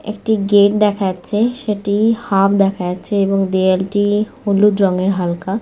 খুব সুন্দর একটি জায়গা বলতে গেলে এটা একটি --